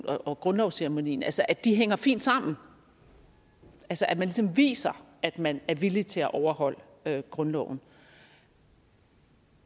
og grundlovsceremonien altså at de hænger fint sammen at man ligesom viser at man er villig til at overholde grundloven